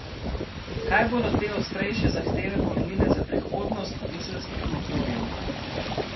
Kaj bodo te ostrejše zahteve pomenile za prihodnost dizelskih motorjev?